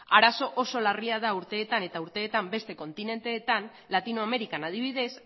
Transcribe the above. arazo oso larria da urteetan eta urteetan beste kontinenteetan latinoamerikan adibidez